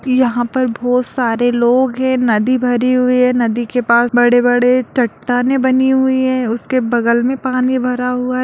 यहां पर बहोत सारे लोग हैं नदी भरी हुई है नदी के पास बड़े-बड़े चट्टानें बनी हुई हैं उसके बगल में पानी भरा हुआ है।